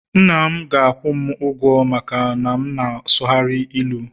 nna'm ga akwu'm ugwo maka na m sughari ilu